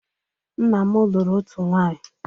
Nna m lụrụ otu nwaanyị.